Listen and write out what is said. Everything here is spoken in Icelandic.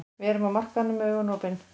Við erum á markaðinum með augun opin.